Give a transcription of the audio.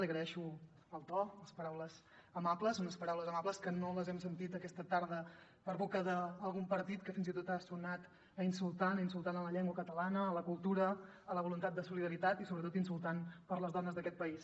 li agraeixo el to les paraules amables unes paraules amables que no les hem sentit aquesta tarda per boca d’algun partit que fins i tot ha sonat insultant insultant per a la llengua catalana la cultura la voluntat de solidaritat i sobretot insultant per a les dones d’aquest país